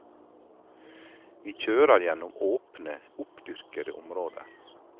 Vi kjører gjennom åpne, oppdyrkede områder.